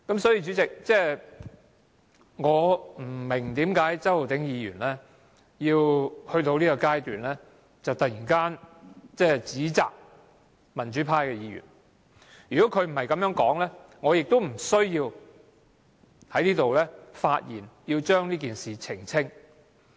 主席，我不明白為何周浩鼎議員在現階段突然指責民主派議員，如果他不是這樣說，我亦無須在這裏發言澄清。